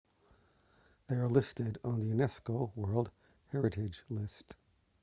they are listed on the unesco world heritage list